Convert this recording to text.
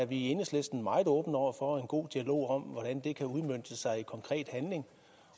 vi i enhedslisten meget åbne over for en god dialog om hvordan det kan udmønte sig i konkret handling